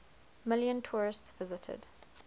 million tourists visited